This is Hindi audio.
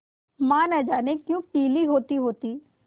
माँ न जाने क्यों पीली होतीहोती